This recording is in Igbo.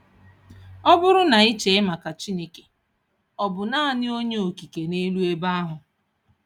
Ọ bụrụ na ị chee maka Chineke, Ọ bụ naanị Onye Okike n'elu ebe ahụ?